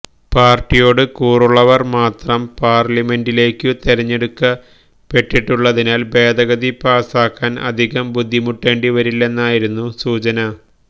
പാർട്ടിയോട് കൂറുള്ളവർ മാത്രം പാർലമെന്റിലേക്കു തെരഞ്ഞെടുക്കപ്പെട്ടിട്ടുള്ളതിനാൽ ഭേദഗതി പാസാകാൻ അധികം ബുദ്ധിമുട്ടേണ്ടിവരില്ലെന്നാണു സൂചന